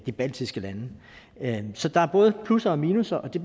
de baltiske lande så der er både plusser og minusser og det